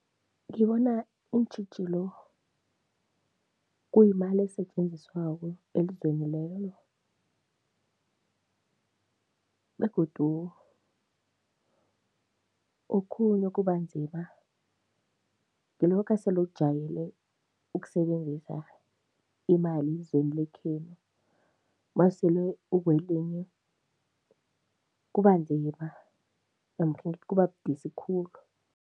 Ngibona iintjhijilo kuyimali esetjenziswako elizweni lelo begodu okhunye okubanzima ngilokha sele ujwayele ukusebenzisa imali yezweni lekhenu, mawusele ukwelinye, kubanzima namkha ngithi kubabudisi khulu.